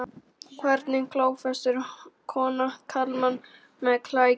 Hvernig klófestir kona karlmann með klækjum?